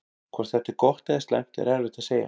Hvort þetta er gott eða slæmt er erfitt að segja.